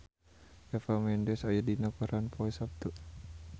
Eva Mendes aya dina koran poe Saptu